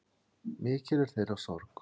Mikil er þeirra sorg.